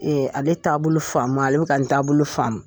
Ee ale taabolo faamu ale bɛ ka n taabolo faamu